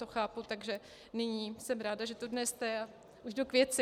To chápu, takže nyní jsem ráda, že tu dnes jste, a už jdu k věci.